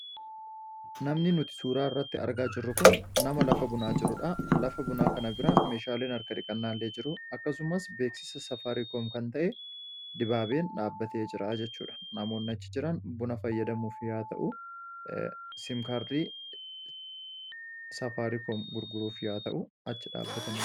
Namni nuti suuraa irratti argaa jirru kun nama lafa bunaa jirudha. Lafa bunaa kana bira meeshaaleen harka dhiqannaa illee jiru. Akkasumas, beeksisa Saafaariikom kan ta'e dibaabeen dhaabbatee jira. Namoonni achi jiran buna fayyadamuuf yookiin siim kaardii gurguruuf achitti argamu.